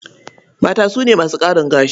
Mata su ne masu ƙarin gashi.